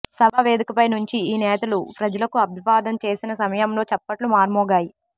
సభా వేదికపై నుంచి ఈ నేతలు ప్రజలకు అభివాదం చేసిన సమయంలో చప్పట్లు మార్మోగాయి